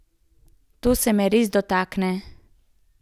To se me res dotakne.